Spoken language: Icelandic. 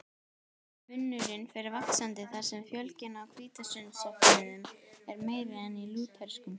Munurinn fer vaxandi þar sem fjölgun í hvítasunnusöfnuðum er meiri en í lúterskum.